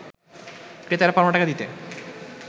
ক্রেতারা পাওনা টাকা দিতে